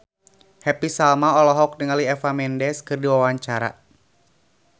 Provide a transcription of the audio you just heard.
Happy Salma olohok ningali Eva Mendes keur diwawancara